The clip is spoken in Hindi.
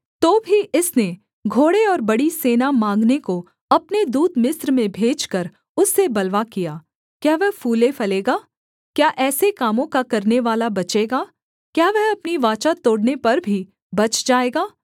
तो भी इसने घोड़े और बड़ी सेना माँगने को अपने दूत मिस्र में भेजकर उससे बलवा किया क्या वह फूले फलेगा क्या ऐसे कामों का करनेवाला बचेगा क्या वह अपनी वाचा तोड़ने पर भी बच जाएगा